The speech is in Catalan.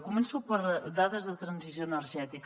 començo per dades de transició energètica